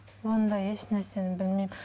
ондай ешнәрсені білмеймін